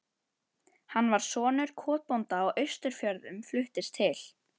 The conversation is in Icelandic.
Hann var sonur kotbónda á Austfjörðum, fluttist til